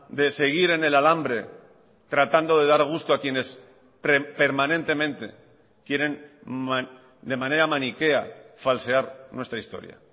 de seguir en el alambre tratando de dar gusto a quienes permanentemente quieren de manera maniquea falsear nuestra historia